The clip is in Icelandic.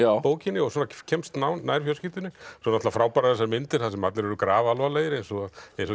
bókinni og kemst nær fjölskyldunni svo eru frábærar þessar myndir þar sem allir er grafalvarlegir eins og